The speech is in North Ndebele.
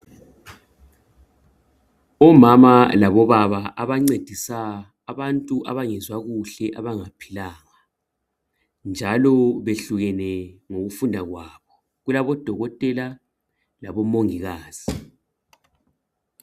Omama labobaba abancedisa abantu abangezwa kuhle abangaphilanga njalo behlukene ngokufunda kwabo. Kulabodokotela labomongikazi.